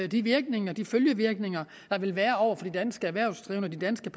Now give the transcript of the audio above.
de virkninger de følgevirkninger der vil være over for de danske erhvervsdrivende og de danske